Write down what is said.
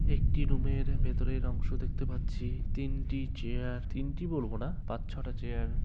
একটি রুমের ভেতরের অংশ দেখতে পাচ্ছি। তিনটি চেয়ার তিনটি বলবো না পাঁচ ছটা চেয়ার ।